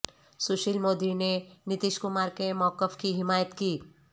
سشیل مودی نے نتیش کمار کے موقف کی حمایت کی